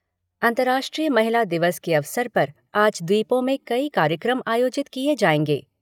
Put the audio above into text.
अंतर्राष्ट्रीय महिला दिवस के अवसर पर आज द्वीपों में कई कार्यक्रम आयोजित किए जाएंगे।